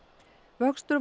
vöxtur